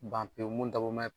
Ban pewu mun dabɔ mɛ.